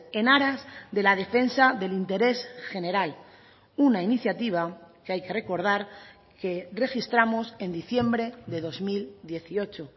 en aras de la defensa del interés general una iniciativa que hay que recordar que registramos en diciembre de dos mil dieciocho